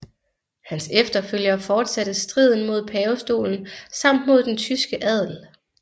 Hans efterfølgere fortsatte striden mod pavestolen samt mod den tyske adel